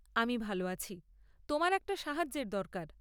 আমি ভাল আছি। তোমার একটা সাহায্যের দরকার।